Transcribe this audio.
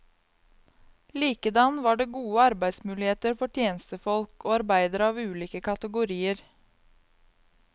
Likedan var det gode arbeidsmuligheter for tjenestefolk og arbeidere av ulike kategorier.